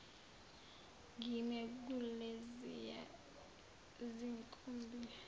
ngime kuleziya zinkumbi